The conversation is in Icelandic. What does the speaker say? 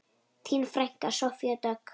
Þín frænka, Soffía Dögg.